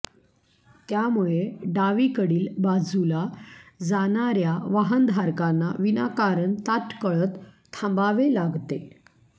त्यामुळे डावीकडील बाजूला जाणाऱ्या वाहनधारकांना विनाकारण ताटकळत थांबावे लागते